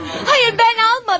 Hayır, hayır, mən almadım.